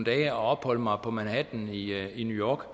at opholde mig på manhatten i new york